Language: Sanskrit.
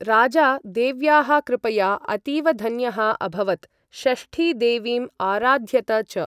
राजा देव्याः कृपया अतीवधन्यः अभवत्, षष्ठी देवीम् आराध्यत च।